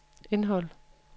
indhold